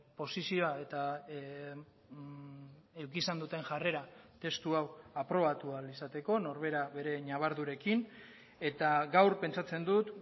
posizioa eta izan duten jarrera testu hau aprobatu ahal izateko norbera bere ñabardurekin eta gaur pentsatzen dut